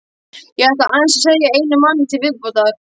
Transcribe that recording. Ég ætla aðeins að segja frá einum manni til viðbótar.